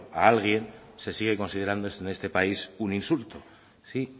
a alguien se sigue considerando en este país un insulto sí